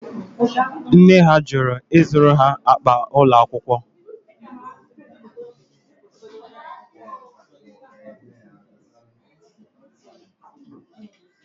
Nne ha jụrụ ịzụrụ ha akpa ụlọ akwụkwọ